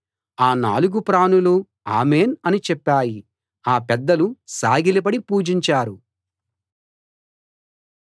ఆ నాలుగు ప్రాణులూ ఆమేన్‌ అని చెప్పాయి ఆ పెద్దలు సాగిలపడి పూజించారు